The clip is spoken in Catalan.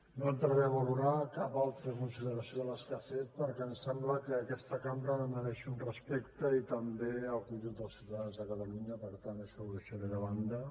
no entraré a valorar cap altra consideració de les que ha fet perquè em sembla que aquesta cambra mereix un respecte i també el conjunt dels ciutadans de catalunya per tant això ho deixaré de banda